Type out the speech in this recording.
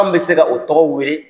bɛ se ka o tɔgɔ wele